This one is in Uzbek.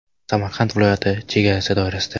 Samarqand viloyati chegarasi doirasida.